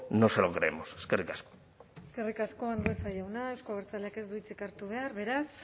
no se lo creemos eskerrik asko eskerrik asko andueza jauna euzko abertzaleak ez du hitzik hartu behar beraz